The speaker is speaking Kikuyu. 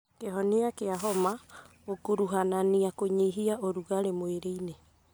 Kĩhonia kĩa homa gĩkuruhanania kũnyihia ũrugarĩ mwĩrĩ-inĩ